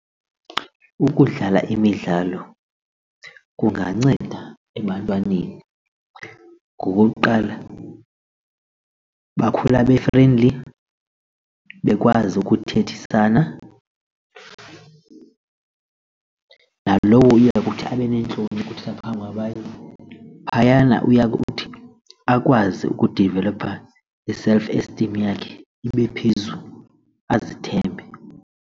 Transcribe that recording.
Ukudlala imidlalo kunganceda ebantwaneni ngokuqala bakhula be-friendly bekwazi ukuthethisana, nalowo uya kuthi abe neentloni ukuthetha nabantu phayana uya kuthi akwazi ukudivelopha i-self esteem yakhe ibe phezulu azithembe.